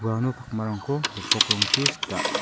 uano pakmarangko gipok rongchi sita.